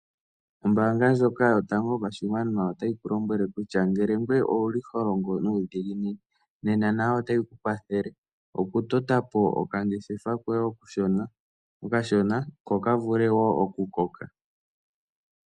Ombaanga ndjoka Yotango Yopashigwana otayi ku lombwele kutya ngele ngoye owu li ho longo nuudhiginini nena nayo otayi ku kwathele okutota po okangeshefa koye okashona ko ka vule wo okukoka.